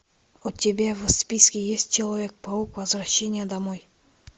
у тебя в списке есть человек паук возвращение домой